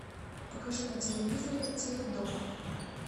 покажи на телевизоре теледом